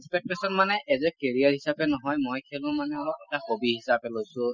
expectation মানে as a carrier হিচাপে নহয় মই কিয়নো মানে অলপ এটা hobby হিচাপে লৈছো।